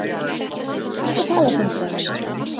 Ekki tala svona, Sif mín!